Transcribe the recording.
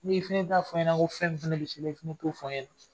Ne fɛn i t'a fɔ n ɲɛna ko fɛn min fana bɛ se i la i k'o fɔ n ɲɛna